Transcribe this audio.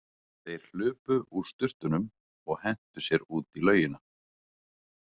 Þeir hlupu úr sturtunum og hentu sér út í laugina.